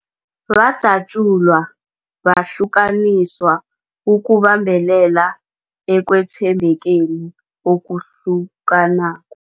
Badatjulwa, bahlukaniswa ukubambelela ekwethembekeni okuhlukanako.